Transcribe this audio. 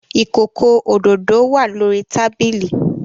Ikoko ododo wa lori tabili